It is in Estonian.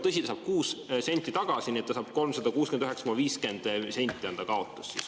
Tõsi, ta saab 6 senti tagasi, nii et 369,54 eurot on ta kaotus.